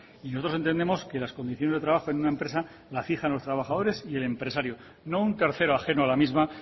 y nosotros entendemos que las condiciones de trabajo en una empresa la fijan los trabajadores y el empresario no un tercero ajeno a la misma